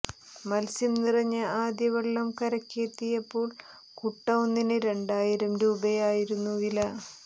മത്സ്യം നിറഞ്ഞ ആദ്യ വള്ളം കരക്ക് എത്തിയപ്പോൾ കുട്ട ഒന്നിന് രണ്ടായിരം രൂപയായിരുന്നു വില